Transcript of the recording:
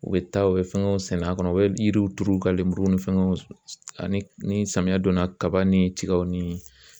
U bɛ taa u bɛ fɛngɛw sɛnɛ a kɔnɔ u bɛ yiriw turu u ka lenburu ni fɛnw ani samiyɛ donna kaba ni tigaw ni